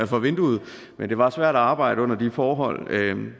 for vinduet men det var svært at arbejde under de forhold